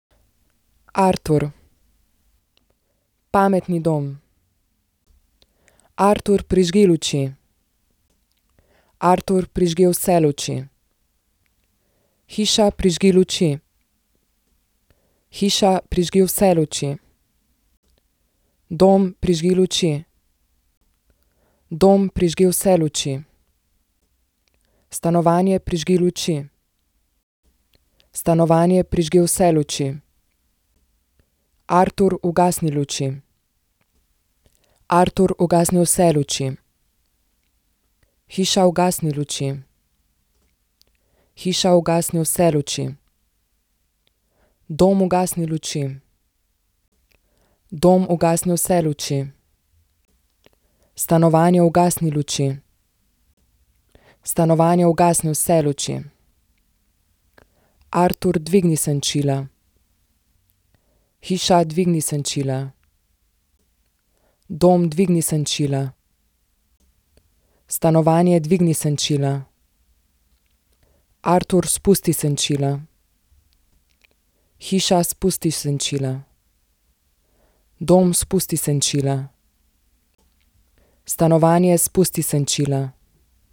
Artur. Pametni dom. Artur, prižgi luči. Artur, prižgi vse luči. Hiša, prižgi luči. Hiša, prižgi vse luči. Dom, prižgi luči. Dom, prižgi vse luči. Stanovanje, prižgi luči. Stanovanje, prižgi vse luči. Artur, ugasni luči. Artur, ugasni vse luči. Hiša, ugasni luči. Hiša, ugasni vse luči. Dom, ugasni luči. Dom, ugasni vse luči. Stanovanje, ugasni luči. Stanovanje, ugasni vse luči. Artur, dvigni senčila. Hiša, dvigni senčila. Dom, dvigni senčila. Stanovanje, dvigni senčila. Artur, spusti senčila. Hiša, spusti senčila. Dom, spusti senčila. Stanovanje, spusti senčila.